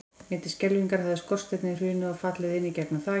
Mér til skelfingar hafði skorsteinninn hrunið og fallið inn í gegnum þakið.